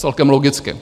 Celkem logicky.